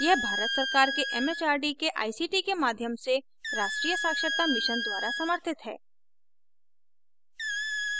यह भारत सरकार के it it आर डी के आई सी टी के माध्यम से राष्ट्रीय साक्षरता mission द्वारा समर्थित है